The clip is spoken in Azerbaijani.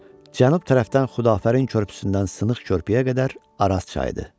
Cənub tərəfdən Xudafərin körpüsündən Sınıq körpüyə qədər Araz çayıdır.